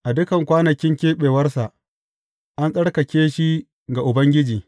A dukan kwanakin keɓewarsa, an tsarkake shi ga Ubangiji.